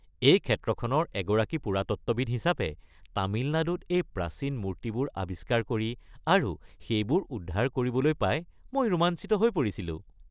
এই ক্ষেত্ৰখনৰ এগৰাকী পুৰাতত্ত্ববিদ হিচাপে, তামিলনাডুত এই প্ৰাচীন মূৰ্তিবোৰ আৱিষ্কাৰ কৰি আৰু সেইবোৰ উদ্ধাৰ কৰিবলৈ পাই মই ৰোমাঞ্চিত হৈ পৰিছিলোঁ।